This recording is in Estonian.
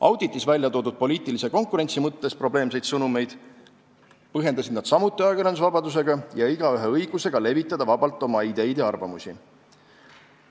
Auditis välja toodud poliitilise konkurentsi mõttes probleemseid sõnumeid põhjendasid nad samuti ajakirjandusvabadusega ja igaühe õigusega levitada vabalt oma ideid ja arvamusi.